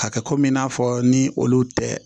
Hakɛ komi i n'a fɔ ni olu tɛ